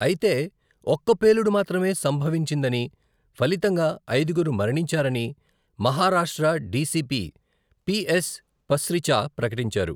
అయితే ఒక్క పేలుడు మాత్రమే సంభవించిందని, ఫలితంగా ఐదుగురు మరణించారని మహారాష్ట్ర డీసీపీ పీఎస్ పస్రిచా ప్రకటించారు.